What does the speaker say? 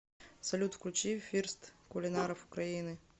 салют включи фирст кулинаров украины